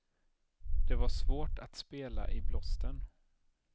Det var svårt att spela i blåsten.